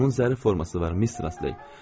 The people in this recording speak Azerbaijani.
Onun zərif forması var, Mistress Ley.